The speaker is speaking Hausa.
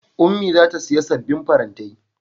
Ummi za ta siya sabbin farantai.